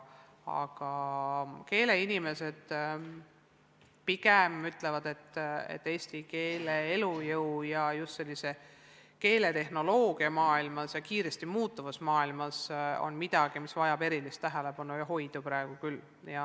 Aga keeleinimesed pigem ütlevad, et eesti keele elujõud on – just kiiresti muutuvas keeletehnoloogia maailmas – miski, mis vajab praegu küll erilist tähelepanu ja hoidu.